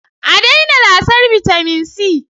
A daina lasar bitamin C